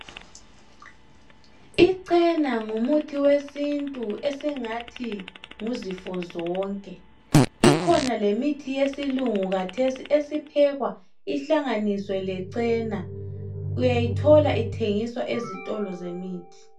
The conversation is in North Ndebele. Ichena ngumuthi wesintu esingathi nguzifo zonke ikhona lemithi yesilungu kathesi esiphekwa ihlanganisiwe lechena uyayithola ithengiswa ezitolo zemithi.